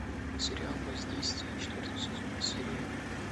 сериал воздействие четвертый сезон серия один